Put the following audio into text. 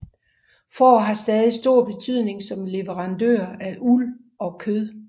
Får har stadig stor betydning som leverandør af uld og kød